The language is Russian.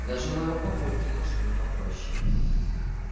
даже у моего папульки машина попроще